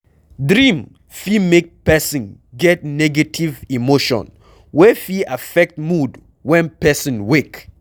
Dream fit make person get negative emotion wey fit affect mood when person wake